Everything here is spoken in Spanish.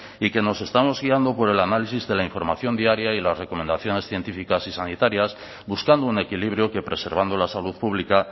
y que nos estamos guiando por el análisis de la información diaria y las recomendaciones científicas y sanitarias buscando un equilibrio que preservando la salud pública